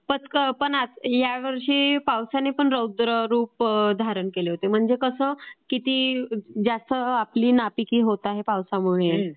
पण ह्यावर्षी पावसाने पण रौद्ररूप धारण केले होते म्हणजे कसं की ज्याने आपली नापिकी होत आहे पावसामुळे